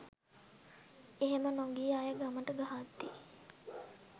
එහෙම නොගිය අය ගමට ගහද්දි